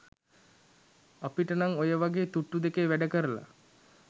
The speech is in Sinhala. අපිට නං ඔය වගේ තුට්ටු දෙකේ වැඩ කරල